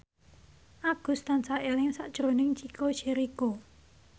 Agus tansah eling sakjroning Chico Jericho